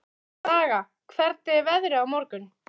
Braga, hvernig er veðrið í dag?